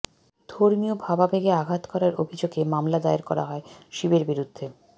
ধর্মীয় ভাবাবেগে আঘাত করার অভিযোগে মামলা দায়ের করা হয় শিবের বিরুদ্ধে